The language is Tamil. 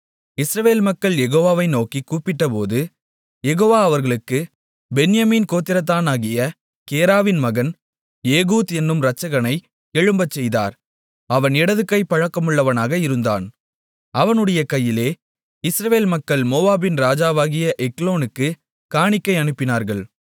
இஸ்ரவேல் மக்கள் யெகோவாவை நோக்கிக் கூப்பிட்டபோது யெகோவா அவர்களுக்குப் பென்யமீன் கோத்திரத்தானாகிய கேராவின் மகன் ஏகூத் என்னும் இரட்சகனை எழும்பச்செய்தார் அவன் இடதுகைப் பழக்கமுள்ளவனாக இருந்தான் அவனுடைய கையிலே இஸ்ரவேல் மக்கள் மோவாபின் ராஜாவாகிய எக்லோனுக்குக் காணிக்கை அனுப்பினார்கள்